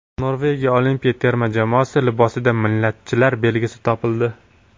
Norvegiya olimpiya terma jamoasi libosida millatchilar belgisi topildi.